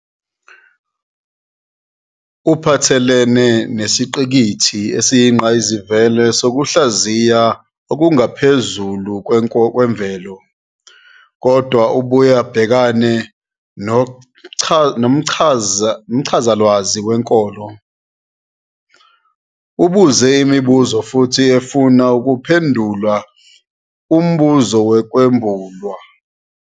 Uphathelene nesiqikili esiyingqayizivele sokuhlaziya okungaphezukwemvelo, kodwa ubuye ubhekane nomchazalwazi wenkolo, ubuze imibuzo futhi ufune ukuphendula umbuzo wokwambulwa.